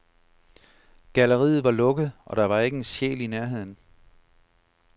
Galleriet var lukket, og der var ikke en sjæl i nærheden.